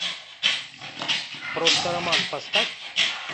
просто роман поставь